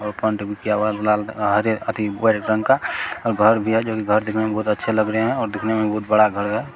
और कंट्रीब्यूट किया हुआ है लाल हरे रंग का और घर भी है जो की घर दिखने में बहुत अच्छे लग रहे है और दिखने में बहुत बड़ा घर है।